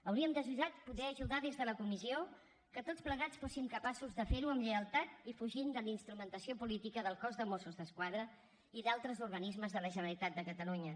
hauríem desitjat poder ajudar des de la comissió que tots plegats fóssim capaços de fer ho amb lleialtat i fugint de la instrumentalització política del cos de mossos d’esquadra i d’altres organismes de la generalitat de catalunya